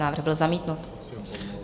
Návrh byl zamítnut.